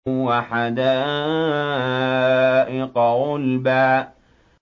وَحَدَائِقَ غُلْبًا